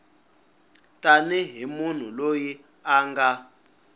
tanihi munhu loyi a nga